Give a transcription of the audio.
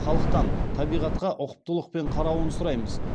халықтан табиғатқа ұқыптылықпен қарауын сұраймыз